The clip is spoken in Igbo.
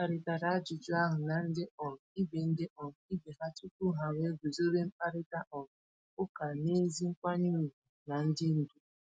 Ha kparịtara ajụjụ ahụ na ndị um ibe ndị um ibe ha tupu ha wee guzobe mkparịta um ụka n’ezi nkwanye ùgwù na ndị ndu.